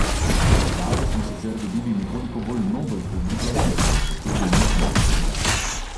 S predstavo smo sicer dobili nekoliko bolj nobel publiko, ki pa je potem nismo obdržali.